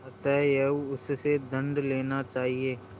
अतएव उससे दंड लेना चाहिए